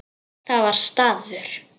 Það var staður.